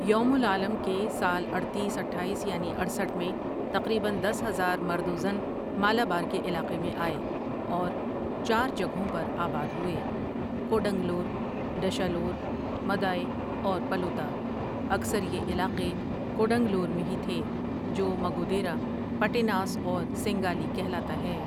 یوم العالم کے سال اڈتیس آٹھایس یعنی اٹھسٹھ میں، تقریباً دس ہزار مرد و زن مالابار کے علاقے میں آئے اور چار جگہوں پر آباد ہوئے، کوڈنگلور، ڈشالور، مدائےاور پلوطہ اکثر یہ علاقے کوڈنگلور میں ہی تھے جو مگو دیرہ پٹیناس اور سینگالی کہلاتا ہے ۔